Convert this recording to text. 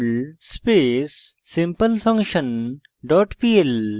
perl space simplefunction dot pl